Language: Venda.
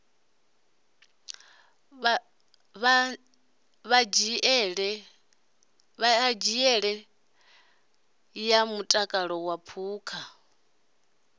ṱhanziela ya mutakalo wa phukha